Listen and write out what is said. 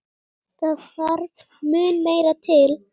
Það þarf mun meira til.